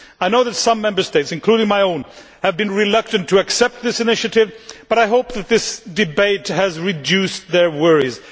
I know that some Member States, including my own, have been reluctant to accept this initiative but I hope that this debate has reduced their worries.